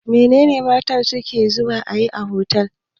Mene ne mutane suke zuwa yi a otal?